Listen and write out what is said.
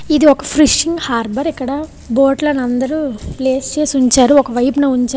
ఇది ఒక fishing harbour బోట్లు అని ప్లేస్ చేసే ఉంచారు. ఒక వైపున ఉంచారు.